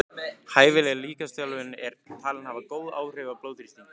Hæfileg líkamsþjálfun er talin hafa góð áhrif á blóðþrýsting.